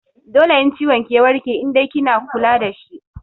Dole in ciwon ki ya warke in dai kina kula dashi